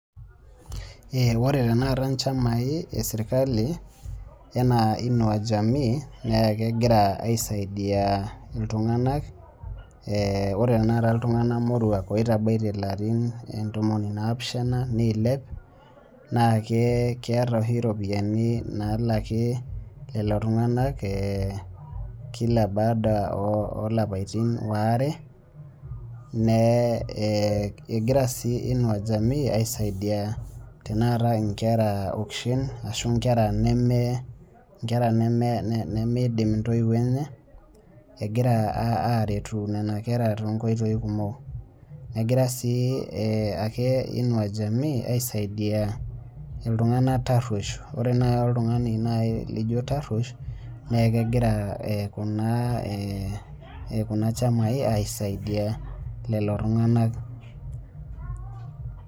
Ore tenakata chamai ee serikali enaa Inaua Jamii naa kegira aisaidia iltungana . Ore tenakata iltungana morua otabaitie ilarim ntomon onapishana neilep naa keeta oshi iropiani nalaki lelo tung'ana kila baada olapaitin oare nee egira sii Inua Jamii aisaidia tenakata inkera oishin ashu inkera nemieidim intoio enye egira aretu nena kera tonkoitoi kumok. Egira sii ake Inua Jamii aisaidia iltung'ana taruosho. Ore oltung'ani naji laijo taruosho naa kegiraa kuna chamai aisaidia lelo tung'ana.